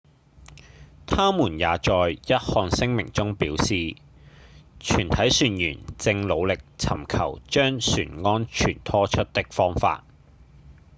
他們也在一項聲明中表示：「全體船員正努力尋求將船安全拖出的方法」